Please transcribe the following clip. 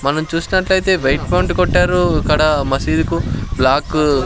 మనం చూసినట్లయితే white font కొట్టారు ఇక్కడ మసీదుకు బ్లాక్ --